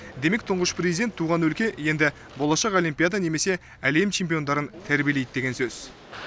демек тұңғыш президент туған өлке енді болашақ олимпиада немесе әлем чемпиондарын тәрбиелейді деген сөз